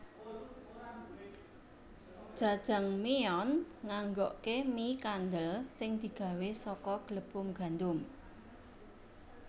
Jajangmyeon nganggokke mie kandel sing digawé saka glepung gandum